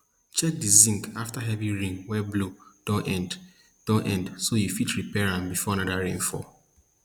check di zinc afta heavy rain wey blow don end don end so you fit repair am before anoda rain fall